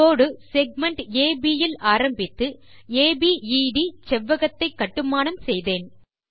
கோடு segment அப் யில் ஆரம்பித்து அபேத் செவ்வகத்தை கட்டுமானம் செய்தேன்